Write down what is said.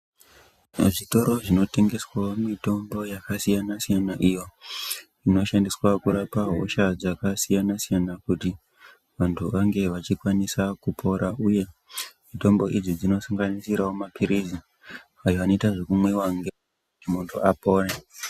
Zvitoro zvinotengeswe mitombo yakasiyana-siyana iyo inoshandiswa kurapa hosha dzakasiyana-siyana, kuti vantu vange vachikwanisa kupora uye mitombo idzi dzinosanganisirawo mapilizi, ayo anoyita zvekumwiwa ngeee muntu apone.